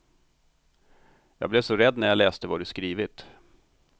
Jag blev så rädd när jag läste vad du skrivit.